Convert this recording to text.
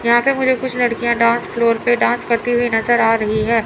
यहां पे मुझे कुछ लड़कियां डांस फ्लोर पे डांस करती हुई नजर आ रही है।